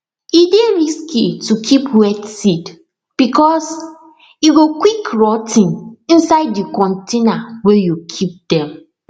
e dey risky to keep wet seed because e go quick rot ten inside di container wey you keep dem